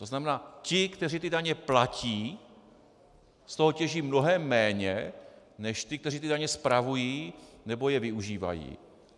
To znamená ti, kteří ty daně platí, z toho těží mnohem méně než ti, kteří ty daně spravují nebo je využívají.